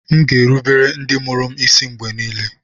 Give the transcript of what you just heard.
M ga-erubere ndị mụrụ m isi mgbe niile